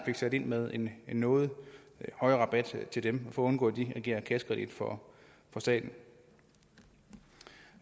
fik sat med en noget højere rabat til dem for at undgå at de agerer kassekredit for staten